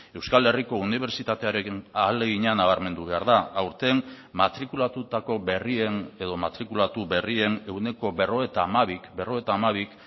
euskal herriko unibertsitatearekin ahalegina nabarmendu behar da aurten matrikulatutako berrien edo matrikulatu berrien ehuneko berrogeita hamabik berrogeita hamabik